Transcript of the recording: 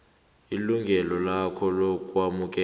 ilungelo lakhe lokwamukela